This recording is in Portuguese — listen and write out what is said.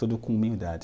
Tudo com humildade.